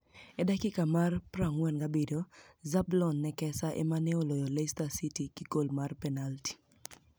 E dakika mar 47 ,Zbloni ni ekeSaa ema ni e oloyo Leicester City gi gol mar penialti.